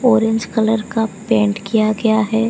Orange colour का पेंट किया गया है।